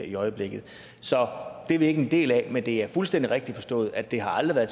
i øjeblikket så det er vi ikke en del af men det er fuldstændig rigtigt forstået at det aldrig